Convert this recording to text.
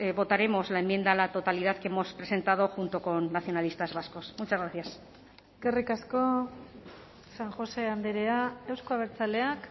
votaremos la enmienda a la totalidad que hemos presentado junto con nacionalistas vascos muchas gracias eskerrik asko san josé andrea euzko abertzaleak